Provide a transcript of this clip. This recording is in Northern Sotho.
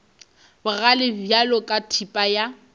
bogale bjalo ka thipa ya